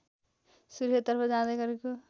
सुर्खेततर्फ जाँदै गरेको